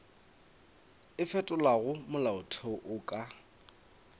o fetolago molaotheo o ka